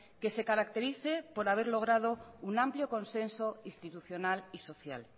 que se caracterice por haber logrado un amplio consenso institucional y social